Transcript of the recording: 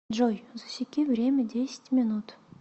джой засеки время десять минут